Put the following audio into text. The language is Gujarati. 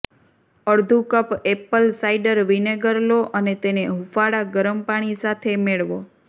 અડધું કપ એપ્પલ સાઇડર વિનેગર લો અને તેને હુંફાળા ગરમ પાણી સાથે મેળવો